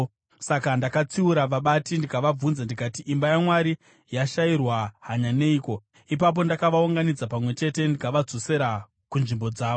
Saka ndakatsiura vabati ndikavabvunza ndikati, “Imba yaMwari yashayirwa hanya neiko?” Ipapo ndakavaunganidza pamwe chete ndikavadzosera kunzvimbo dzavo.